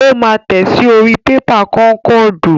Ó máa tẹ̀ ẹ́ sí orí pépà kọ́ńkọ́ọ̀dù.